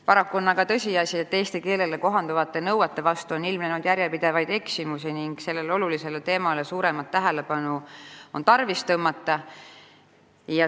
Paraku on aga tõsiasi, et eesti keele oskamise nõuete vastu on ilmnenud järjepidevaid eksimusi ning sellele olulisele teemale on tarvis tõmmata suuremat tähelepanu.